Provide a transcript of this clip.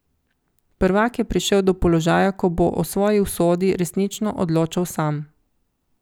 Prvak je prišel do položaja, ko bo o svoji usodi resnično odločal sam.